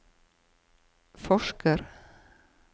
forsker